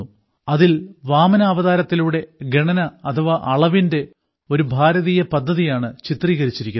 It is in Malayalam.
അതിൽ വാമനാവതാരത്തിലൂടെ ഗണന അഥവാ അളവിന്റെ ഒരു ഭാരതീയ പദ്ധതിയാണ് ചിത്രീകരിച്ചിരിക്കുന്നത്